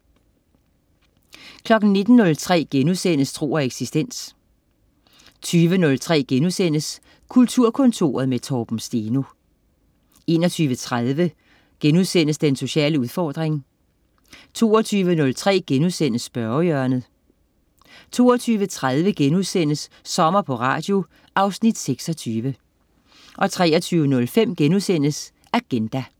19.03 Tro og eksistens* 20.03 Kulturkontoret med Torben Steno* 21.30 Den sociale udfordring* 22.03 Spørgehjørnet* 22.30 Sommer på Radio. Afsnit 26* 23.05 Agenda*